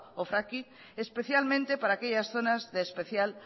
o fracking especialmente para aquellas zonas de especial